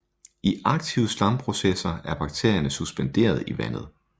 I aktive slamprocesser er bakterierne suspenderet i vandet